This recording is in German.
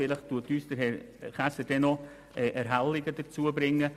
Vielleicht wird uns Herr Käser diese noch näher erläutern.